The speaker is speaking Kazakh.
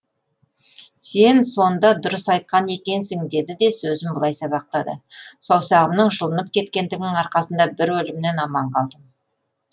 сен сонда дұрыс айтқан екенсін деді де сөзін былай сабақтады саусағымның жұлынып кеткендігінің арқасында бір өлімнен аман қалдым